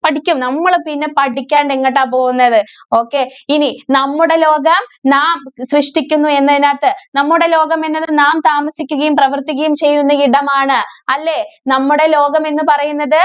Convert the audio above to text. പഠിക്കും. നമ്മള് പിന്നെ പഠിക്കാണ്ട് എങ്ങട്ടാ പോകുന്നത്. okay. ഇനി നമ്മുടെ ലോകം നാം സൃഷ്ടിക്കുന്നു എന്നതിനകത്ത് നമ്മുടെ ലോകം എന്നത് നാം താമസിക്കുകയും, പ്രവര്‍ത്തിക്കുകയും ചെയ്യുന്ന ഇടമാണ്. അല്ലേ?